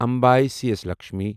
اَمبے سی اٮ۪س لکشمی